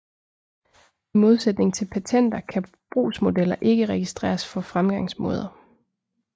I modsætning til patenter kan brugsmodeller ikke registreres for fremgangsmåder